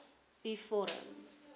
u vorm